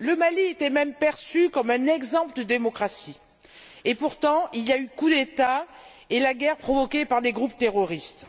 Le Mali était même perçu comme un exemple de démocratie. Et pourtant, il y a eu le coup d'État et la guerre provoquée par des groupes terroristes.